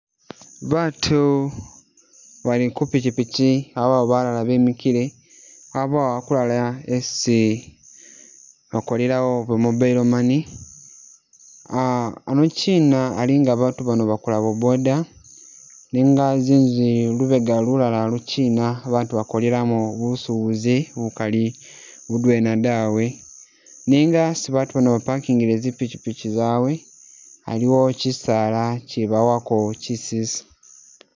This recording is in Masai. Batu bali ku pikipiki, yabawo balala bimikile, yabawo akulala esi bakolelawo bwa mobile money. Ah anokiina ali nga batu bakolelawo bwa boda, nenga zinzu zili lubega lulala ilukiina batu bakolelamu busubuzi bukali budwena dawe, nenga batu bano bemisile zi pikipiki zabwe, aliwo kisaala kibawako kisiisa.